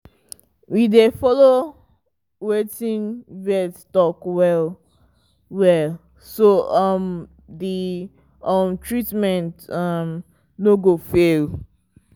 we dey follow wetin vet talk well-well so um the um treatment um no go fail.